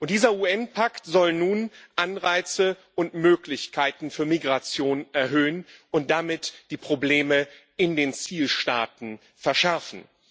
Dieser UN Pakt soll nun Anreize und Möglichkeiten für Migration erhöhen und damit die Probleme in den Zielstaaten verschärfen.